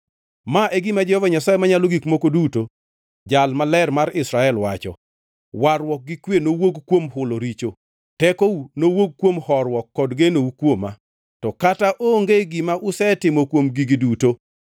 Ma e gima Jehova Nyasaye Manyalo Gik Moko Duto, Jal Maler mar Israel wacho: “Warruok gi kwe nowuog kuom hulo richo, tekou nowuog kuom horuok kod genou kuoma, to kata onge gima usetimo kuom gigi duto.